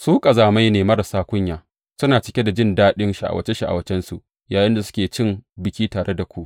Su ƙazamai ne marasa kunya, suna cike da jin daɗin sha’awace sha’awacensu yayinda suke cin biki tare da ku.